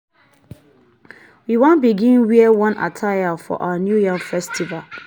we wan begin wear one attire for our new yam festival.